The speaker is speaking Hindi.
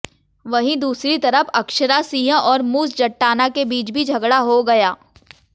वहीं दूसरी तरफ अक्षरा सिंह और मूस जट्टाना के बीच भी झगड़ा हो गया